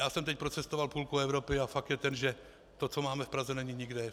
Já jsem teď procestoval půlku Evropy a fakt je ten, že to, co máme v Praze, není nikde.